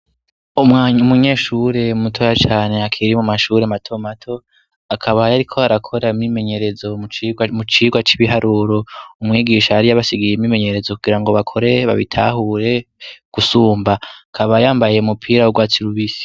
Umunyeshure mutoya cane akiri mu mashure matomato, akaba yariko arakora imyimenyerezo mu cirwa c'ibiharuro. Umwigisha yari yabasigiye imyimenyerezo kugirango bakore, babitahure gusumba, akaba yambaye umupira w'urwatsi rubisi.